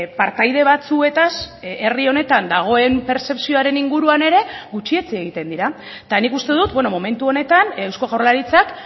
partaide batzuetaz herri honetan dagoen pertzepzioaren inguruan ere gutxi etsi egiten dira eta nik uste dut beno momentu honetan eusko jaurlaritzak